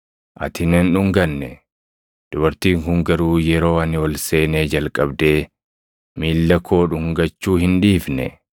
Ati na hin dhunganne; dubartiin kun garuu yeroo ani ol seenee jalqabdee miilla koo dhungachuu hin dhiifne.